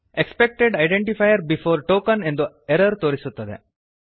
expected identifier before token ಎಂದು error ತೋರಿಸುತ್ತದೆ